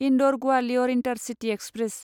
Indore Gwalior intercity express